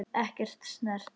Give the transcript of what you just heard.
Ekki snert.